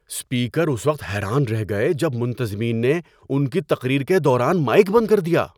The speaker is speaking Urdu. اسپیکر اس وقت حیران رہ گئے جب منتظمین نے ان کی تقریر کے دوران مائیک بند کر دیا۔